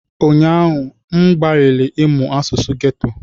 Ụnyaahụ, m gbalịrị ịmụ asụsụ geto.